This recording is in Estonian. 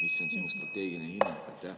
Mis on sinu strateegiline hinnang?